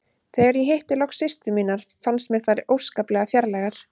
Þegar ég hitti loks systur mínar fannst mér þær óskaplega fjarlægar.